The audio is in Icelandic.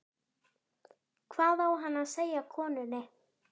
Hvað á hann að segja konunni?